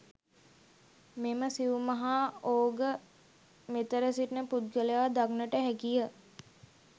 මෙම සිව් මහා ඕඝ, මෙතෙර සිටින පුද්ගලයා දක්නට හැකි ය.